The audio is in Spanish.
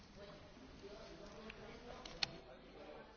Se suele decir que no hay más ciego que el que no quiere ver.